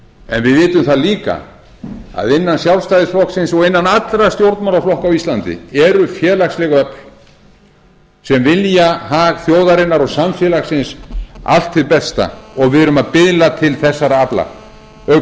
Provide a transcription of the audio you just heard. en við vitum það líka að innan sjálfstæðisflokksins og innan allra stjórnmálaflokka á íslandi eru félagsleg öfl sem vilja hag þjóðarinnar og samfélagsins allt hið besta og við erum að biðla til þessara afla